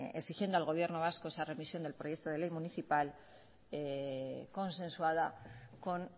exigiendo al gobierno vasco esa remisión del proyecto de ley municipal consensuada con